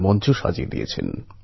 বেড়াতে গিয়েছিল